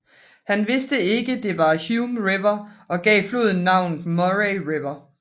Han vidste ikke det var Hume River og gav floden navnet Murray River